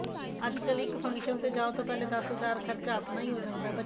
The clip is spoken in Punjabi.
ਅੱਜਕਲ ਇੱਕ function ਤੇ ਜਾਓ ਤਾਂ ਪਹਿਲੇ ਦਸ ਹਜ਼ਾਰ ਖਰਚਾ ਆਪਣਾ ਹੀ ਹੋ ਜਾਂਦਾ ਹੈ ਬੱਚਿਆ